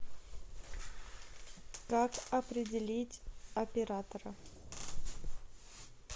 как определить оператора